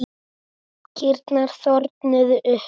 Kýrnar þornuðu upp.